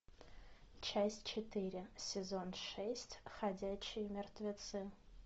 часть четыре сезон шесть ходячие мертвецы